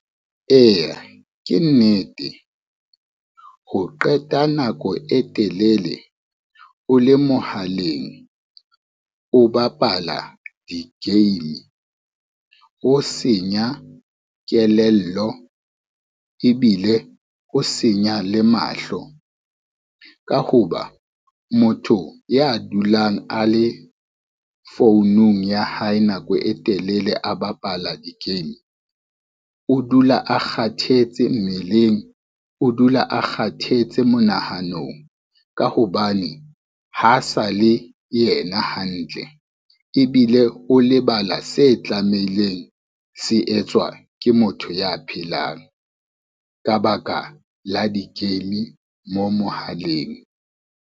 Eya ke nnete, ho qeta nako e telele o le mohaleng o bapala di-game ho senya kelello ebile ho senya le mahlo. Ka ho ba motho ya dulang a le founung ya hae nako e telele a bapala di-game, o dula a kgathetse mmeleng, o dula a kgathetse monahanong ka hobane ha sa le yena hantle, ebile o lebala se tlameileng se etswa ke motho ya phelang ka baka la di-game mo mohaleng.